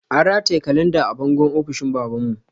An rataye kalanda a bangon ofishin baban mu